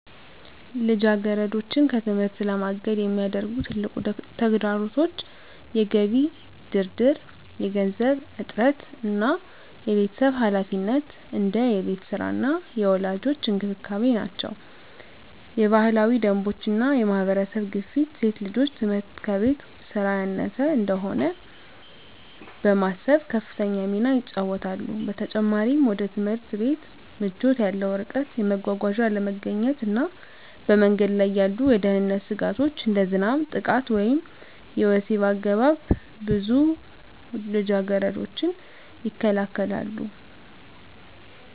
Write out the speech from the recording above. ልጃገረዶችን ከትምህርት ለማገድ የሚያደርጉ ትልቁ ተግዳሮቶች የገቢ ድርድር፣ የገንዘብ እጥረት እና የቤተሰብ ኃላፊነት (እንደ የቤት ሥራ እና የወላጆች እንክብካቤ) ናቸው። የባህላዊ ደንቦች እና የማህበረሰብ ግፊት ሴት ልጆች ትምህርት ከቤት ሥራ ያነሰ እንደሆነ በማሰብ ከፍተኛ ሚና ይጫወታሉ። በተጨማሪም፣ ወደ ትምህርት ቤት ምቾት ያለው ርቀት፣ የመጓጓዣ አለመገኘት እና በመንገድ ላይ ያሉ የደህንነት ስጋቶች (እንደ ዝናብ፣ ጥቃት ወይም የወሲብ አገባብ) ብዙ ልጃገረዶችን ይከለክላሉ።